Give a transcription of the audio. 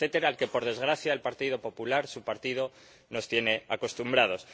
largo etcétera al que, por desgracia, el Partido Popular, su partido, nos tiene acostumbrados.